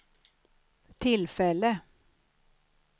tillfälle